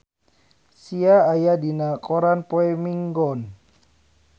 Sia aya dina koran poe Minggon